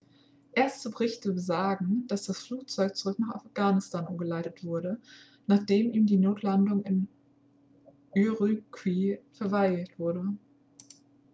erste berichte besagen dass das flugzeug zurück nach afghanistan umgeleitet wurde nachdem ihm die notlandung in ürümqi verweigert wurde